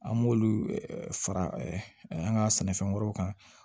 An b'olu fara an ka sɛnɛfɛn wɛrɛw kan